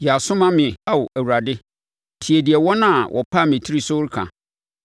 Yɛ aso ma me, Ao, Awurade; tie deɛ wɔn a wɔpam me tiri so reka!